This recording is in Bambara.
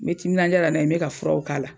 Me timinanja la n' a ye n bɛ ka furaw k'a la.